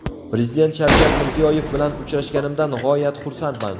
Prezident Shavkat Mirziyoyev bilan uchrashganimdan g‘oyat xursandman.